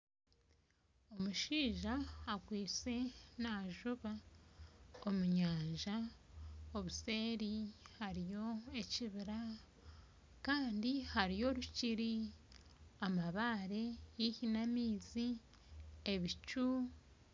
Omushaija akwitse najuba omunyanja obuseeri hariyo ekibira Kandi hariyo orukiri amabare haihi n'amaizi ebicu.